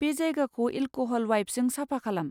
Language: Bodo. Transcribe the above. बे जायगाखौ एलक'हल वाइपजों साफा खालाम।